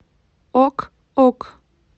ок ок